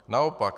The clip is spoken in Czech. Naopak.